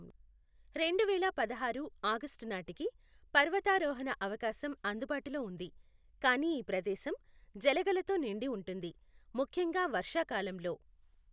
రెండు వేల పదహారు ఆగస్టు నాటికి పర్వతారోహణ అవకాశం అందుబాటులో ఉంది, కానీ ఈ ప్రదేశం జలగలతో నిండి ఉంటుంది, ముఖ్యంగా వర్షాకాలంలో.